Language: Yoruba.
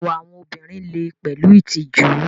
Ìwà àwọn obìnrin lè pẹ̀lú ìtìjú.